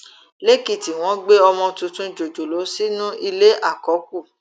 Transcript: lèkìtì wọn gbé ọmọ tuntun jòjòló sínú ilé àkọkù